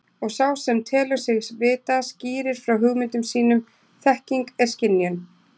Og sá sem telur sig vita skýrir frá hugmyndum sínum þekking er skynjun.